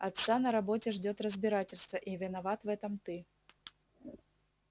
отца на работе ждёт разбирательство и виноват в этом ты